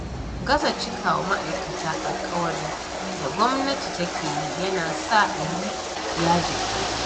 Gaza cikawa ma'aikata alƙawari da gwamnati take yi yana sa a yi yajin aiki.